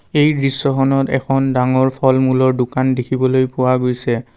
এই দৃশ্যখনত এখন ডাঙৰ ফল মূলৰ দোকান দেখিবলৈ পোৱা গৈছে।